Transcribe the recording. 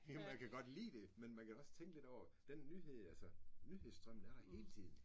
Jo man kan godt lide det. Men man kan da også tænke lidt over den nyhed altså nyhedstrømmen er der hele tiden